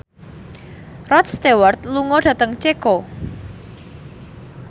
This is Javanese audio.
Rod Stewart lunga dhateng Ceko